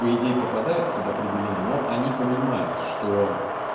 по идеи попадают под определение но они понимают что